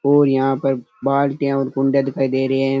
और यहाँ पर बाल्टियां और कुंडे दिखाई दे रहे है।